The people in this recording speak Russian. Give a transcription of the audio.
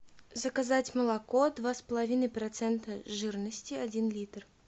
заказать молоко два с половиной процента жирности один литр